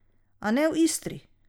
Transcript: A ne v Istri!